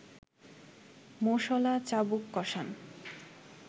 মোষঅলা চাবুক কষান